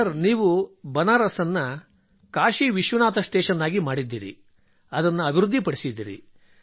sir ನೀವು ಬನಾರಸ್ ಅನ್ನು Kashi Vishwanath station ಮಾಡಿದ್ದೀರಿ ಅದನ್ನು ಅಭಿವೃದ್ಧಿಪಡಿಸಿದ್ದೀರಿ